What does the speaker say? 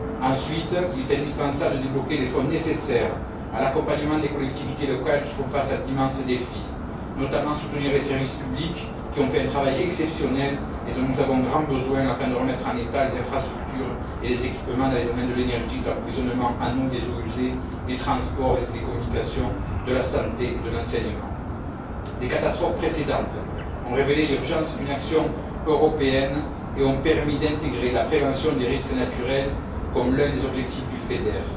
Ensuite, il est indispensable de débloquer les fonds nécessaires à l'accompagnement des collectivités locales qui font face à d'immenses défis, notamment soutenir les services publics, qui ont fait un travail exceptionnel et dont nous avons grand besoin afin de remettre en état les infrastructures et les équipements dans les domaines de l'énergie, de l'approvisionnement en eau, des eaux usées, des transports et des télécommunications, de la santé et de l'enseignement. Les catastrophes précédentes ont révélé l'urgence d'une action européenne et ont permis d'intégrer la prévention des risques naturels comme l'un des objectifs du FEDER.